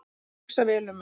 Hugsa vel um mig